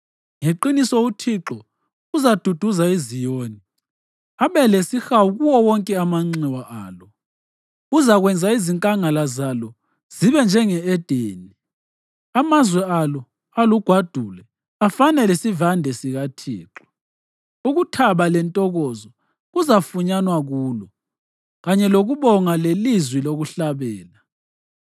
Ngeqiniso uThixo uzaduduza iZiyoni abe lesihawu kuwo wonke amanxiwa alo; uzakwenza izinkangala zalo zibe njenge-Edeni, amazwe alo alugwadule afane lesivande sikaThixo. Ukuthaba lentokozo kuzafunyanwa kulo, kanye lokubonga lelizwi lokuhlabela.